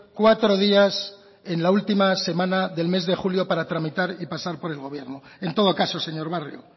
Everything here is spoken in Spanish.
cuatro días en la última semana del mes de julio para tramitar y pasar por el gobierno en todo caso señor barrio